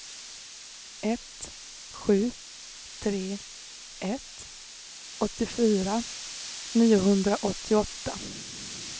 ett sju tre ett åttiofyra niohundraåttioåtta